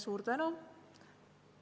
Suur tänu!